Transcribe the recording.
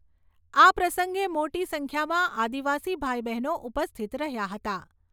આ પ્રસંગે મોટી સંખ્યામાં આદિવાસી ભાઈ બહેનો ઉપસ્થિત રહ્યા હતા.